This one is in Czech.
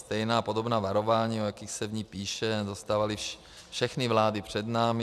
Stejná podobná varování, o jakých se v nich píše, dostávaly všechny vlády před námi.